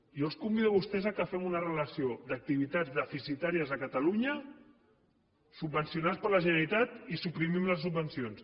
jo els convido a vostès que fem una relació d’activitats deficitàries a catalunya subvencionades per la generalitat i suprimim les subvencions